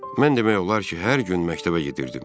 Mən demək olar ki, hər gün məktəbə gedirdim.